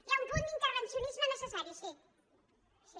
hi ha un punt d’intervencionisme necessari sí sí